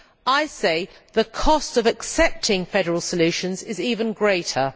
I say the cost of accepting federal solutions is even greater.